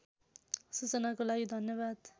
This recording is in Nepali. सूचनाको लागि धन्यवाद